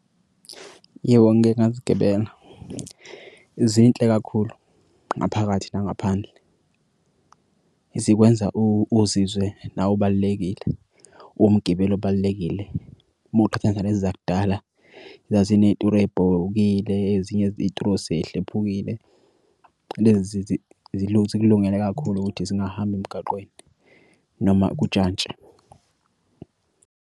Yebo, ngike ngazigibela zinhle kakhulu. Ngaphakathi nangaphandle zikwenza uzizwe nawe ubalulekile umgibeli obalulekile uma uqhathanisa lezi zakudala zazineturo ebhobokile. Ezinye ituro sehlephukile. Lezi zikulungele kakhulu ukuthi zingahamba emgaqweni noma kujantshi.